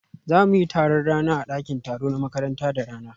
Za mu yi taron rana a ɗakin taro na makaranta da rana